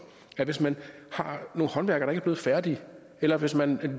at hvis man har nogle håndværkere ikke blevet færdige eller hvis man